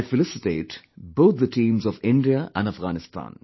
I felicitate both the teams of India & Afghanistan